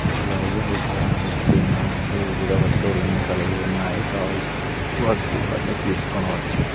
అలాగే ఇక్కడ దాంట్లో ఏదో వస్తువులన్నీ కలిగి ఉన్నాయి కావలసి వస్తువులన్నీ తీసుకొని వచ్చు.